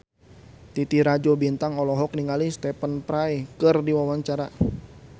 Titi Rajo Bintang olohok ningali Stephen Fry keur diwawancara